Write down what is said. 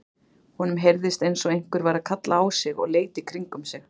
Honum heyrðist eins og einhver væri að kalla á sig og leit í kringum sig.